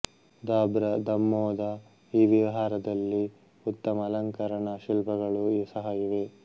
ದಾಬ್ರ ದಾಮ್ಮೊದ ಈ ವಿಹಾರದಲ್ಲಿ ಉತ್ತಮ ಅಲಂಕರಣ ಶಿಲ್ಪಗಳು ಸಹ ಇವೆ